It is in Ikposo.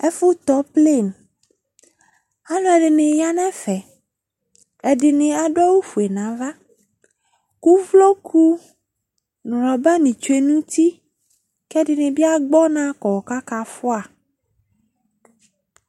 Ɛfʋ tɔ pleni Alʋ ɛdini ya nʋ ɛfɛ Ɛdi ni adʋ awʋ fue nava kʋ uvloku nʋ rɔba ni tsue nʋ uti kʋ ɛdi ni bi agbɔ ɔna kɔ kʋ akafua